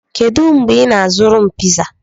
Kedu mgbe ị na-azụrụ m piza?